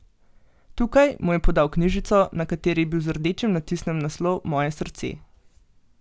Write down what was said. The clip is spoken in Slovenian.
Tukaj, mu je podal knjižico, na kateri je bil z rdečim natisnjen naslov Moje srce.